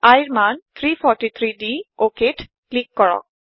iৰ মান 343 দি OKত ক্লিক কৰক